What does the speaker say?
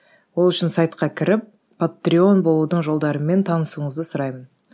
ол үшін сайтқа кіріп патреон болудың жолдарымен танысуыңызды сұраймын